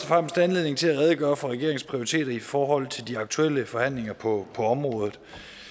fremmest anledning til at redegøre for regeringens prioriteter i forhold til de aktuelle forhandlinger på området